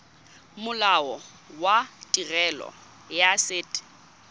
molao wa tirelo ya set